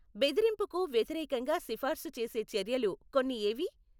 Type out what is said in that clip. బెదిరింపుకు వ్యతిరేకంగా సిఫార్సు చేసే చర్యలు కొన్ని ఏవి?